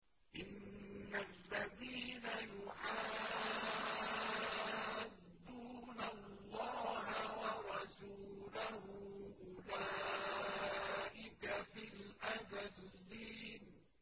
إِنَّ الَّذِينَ يُحَادُّونَ اللَّهَ وَرَسُولَهُ أُولَٰئِكَ فِي الْأَذَلِّينَ